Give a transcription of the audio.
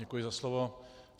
Děkuji za slovo.